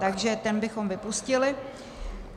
Takže ten bychom vypustili.